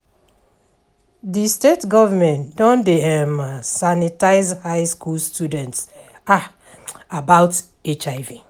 di state government don dey sanitize high school students about HIV